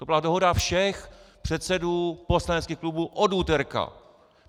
To byla dohoda všech předsedů poslaneckých klubů od úterka!